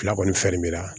Fila kɔni fɛn mi na